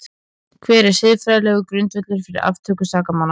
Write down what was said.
Hver er siðferðilegur grundvöllur fyrir aftöku sakamanna?